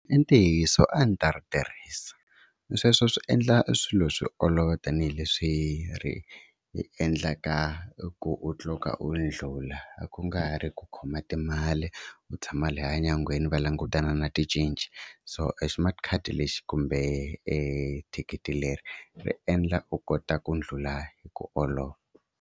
I ntiyiso a ndzi ta ri tirhisa, sweswo swi endla i swilo swi olova tanihileswi ri hi endlaka i ku u cloka u ndlhula ku nga ha ri ku khoma timali, u tshama lahaya nyangweni va langutana na ti cince so a smart card lexi kumbe e thikithi leri ri endla u kota ku ndlhula hi ku olova.